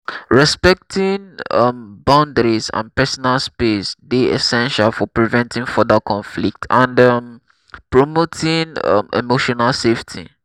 respecting um boundaries and personal space dey essential for preventing further conflict and um promoting um emotional safety.